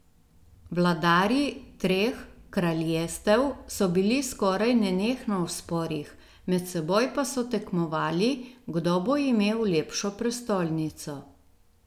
Vladarji treh kraljestev so bili skoraj nenehno v sporih, med seboj pa so tekmovali, kdo bo imel lepšo prestolnico.